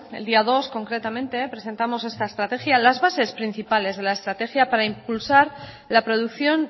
el día dos concretamente presentamos esta estrategia las bases principales de la estrategia para impulsar la producción